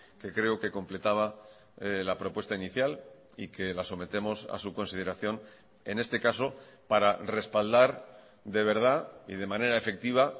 que creo que completaba la propuesta inicial y que la sometemos a su consideración en este caso para respaldar de verdad y de manera efectiva